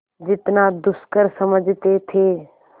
जितना दुष्कर समझते थे